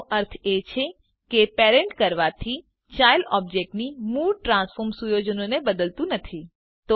એનો અર્થ એ છે કે પેરેન્ટ કરવાથી ચાઈલ્ડ ઓબજેક્ટની મૂળ ટ્રાન્સફોર્મ સુયોજનોને બદલતું નથી